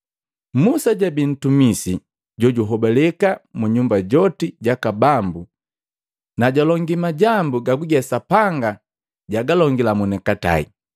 Musa jabii ntumisi jojuhobaleka mu nyumba joti jaka Bambu, na jwalongi majambu gaguge Sapanga jagalongila monikatai.